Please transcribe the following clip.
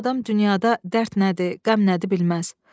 Bu adam dünyada dərd nədir, qəm nədir bilməz.